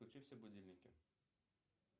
включи все будильники